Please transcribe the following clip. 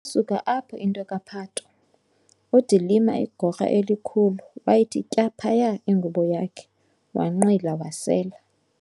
suka apho into kaPhato, uDilima igorha elikhulu, wayithi tya phaya ingubo yakhe wanqwila wasela.